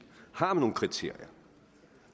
har nogle kriterier